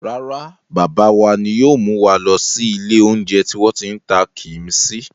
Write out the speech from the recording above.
Rárá, bàbá wa ni yóò mú wa lọ ilé-oúnjẹ tí wọ́n ti ń ta kíḿṣì.